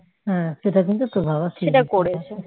হ্যাঁ সেটা কিন্তু তোর বাবা ঠিকই করেছে